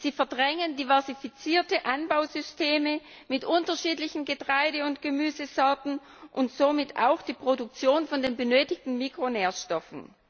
Sie verdrängen diversifizierte Anbausysteme mit unterschiedlichen Getreide und Gemüsesorten und somit auch die Produktion der benötigten Mikronährstoffe.